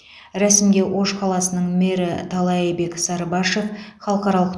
рәсімге ош қаласының мэрі таалайбек сарыбашов халықаралық